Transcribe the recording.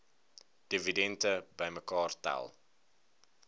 dividende bymekaar tel